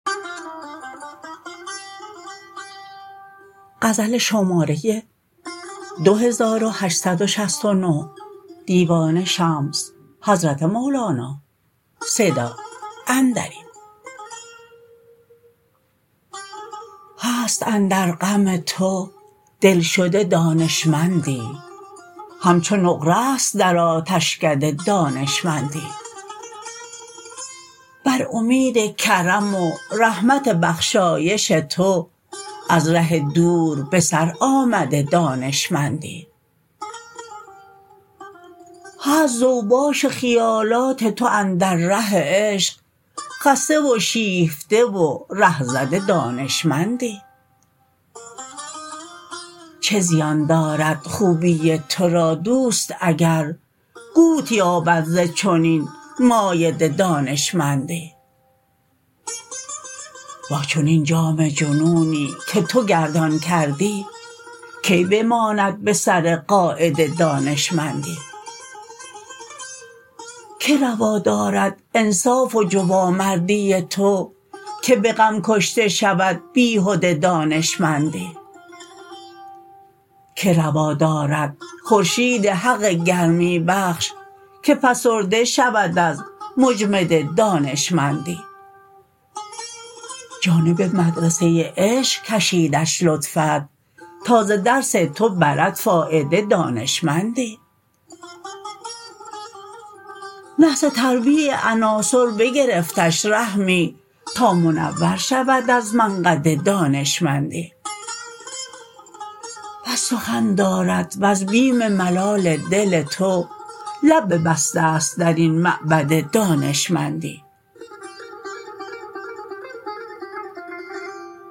هست اندر غم تو دلشده دانشمندی همچو نقره ست در آتشکده دانشمندی بر امید کرم و رحمت بخشایش تو از ره دور به سر آمده دانشمندی هست ز اوباش خیالات تو اندر ره عشق خسته و شیفته و ره زده دانشمندی چه زیان دارد خوبی تو را دوست اگر قوت یابد ز چنین مایده دانشمندی با چنین جام جنونی که تو گردان کردی کی بماند به سر قاعده دانشمندی کی روا دارد انصاف و جوانمردی تو که به غم کشته شود بیهده دانشمندی کی روا دارد خورشید حق گرمی بخش که فسرده شود از مجمده دانشمندی جانب مدرسه عشق کشیدش لطفت تا ز درس تو برد فایده دانشمندی نحس تربیع عناصر بگرفتش رحمی تا منور شود از منقده دانشمندی بس سخن دارد وز بیم ملال دل تو لب ببسته ست در این معبده دانشمندی